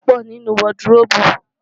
Aáyán pọ̀ nínú wọdıróòbù.